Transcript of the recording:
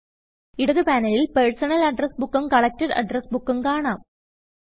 ഇടത് പാനലിൽ personal address ബുക്കും കളക്റ്റട് അഡ്രസ് ബുക്കും കാണാം